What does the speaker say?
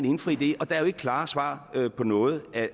indfri det og der er jo ikke klare svar på noget af